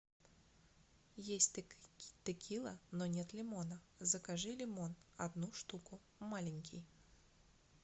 есть текила но нет лимона закажи лимон одну штуку маленький